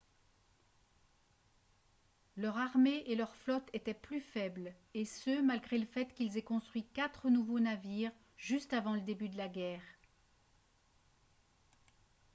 leur armée et leur flotte étaient plus faibles et ce malgré le fait qu'ils aient construit quatre nouveaux navires juste avant le début de la guerre